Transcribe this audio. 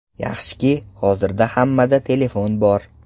Yaxshiki, hozirda hammada telefon bor.